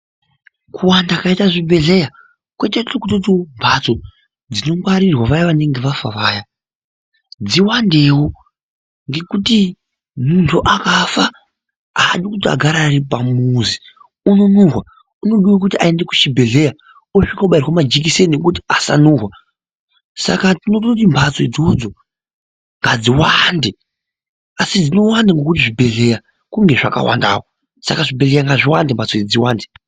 Kuwanda kwakaita zvibhedhleya kwatoita kuti mbatso dzinongwarirwa vaya vanenge vafa vaya dziwandewo ngekuti muntu akafa aadi kuti agare ari pamuzi unonhuwa aadi unodiwa kuti aende kuchibhedhleya osvika obairwe majikiseni ekuti asanuhwa saka tinototi mbatso idzodzo ngadziwande asi dzinowanda ngekuti zvibhedhleya zvinenge zvakawandawo saka zvibhedhleya ngadziwande mbatso idzi dziwandewo.